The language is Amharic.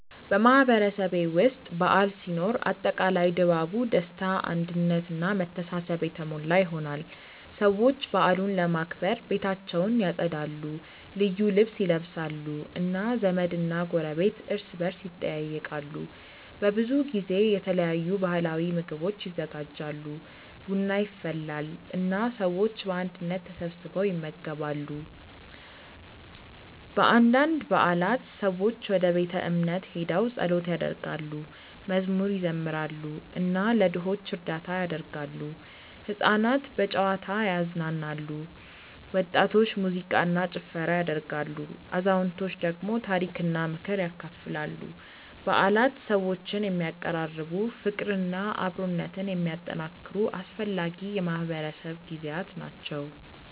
በማህበረሰቤ ውስጥ በዓል ሲኖር አጠቃላይ ድባቡ ደስታ አንድነት እና መተሳሰብ የተሞላ ይሆናል። ሰዎች በዓሉን ለማክበር ቤታቸውን ያጸዳሉ፣ ልዩ ልብስ ይለብሳሉ እና ዘመድና ጎረቤት እርስ በርስ ይጠያየቃሉ። በብዙ ጊዜ የተለያዩ ባህላዊ ምግቦች ይዘጋጃሉ፣ ቡና ይፈላል እና ሰዎች በአንድነት ተሰብስበው ይመገባሉ። በአንዳንድ በዓላት ሰዎች ወደ ቤተ እምነት ሄደው ጸሎት ያደርጋሉ፣ መዝሙር ይዘምራሉ እና ለድሆች እርዳታ ያደርጋሉ። ሕፃናት በጨዋታ ይዝናናሉ፣ ወጣቶች ሙዚቃ እና ጭፈራ ያደርጋሉ፣ አዛውንቶች ደግሞ ታሪክና ምክር ያካፍላሉ። በዓላት ሰዎችን የሚያቀራርቡ፣ ፍቅርና አብሮነትን የሚያጠናክሩ አስፈላጊ የማህበረሰብ ጊዜያት ናቸው።